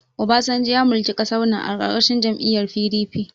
Obasanjo ya mulki ƙasar nan a ƙarƙashin jam'iyyar PDP.